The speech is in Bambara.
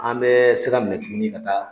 An bɛ sira minɛ tuguni ka taa.